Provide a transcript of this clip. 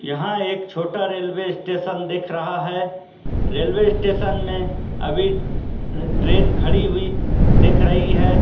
यहां एक छोटा रेलवे स्टेशन दिख रहा है रेलवे स्टेशन में अभी ट्रेन खड़ी हुई है दिख रही है।